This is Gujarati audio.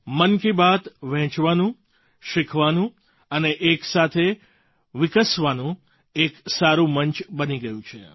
મન કી બાત વહેંચવાનું શીખવાનું અને એક સાથે વિકસવાનું એક સારું મંચ બની ગયું છે